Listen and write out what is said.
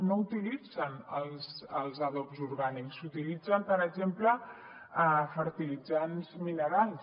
no utilitzen els adobs orgànics utilitzen per exemple fertilitzants minerals